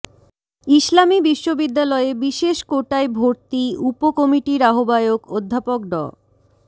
ইসলামী বিশ্ববিদ্যালয়ে বিশেষ কোটায় ভর্তি উপ কমিটির আহ্বায়ক অধ্যাপক ড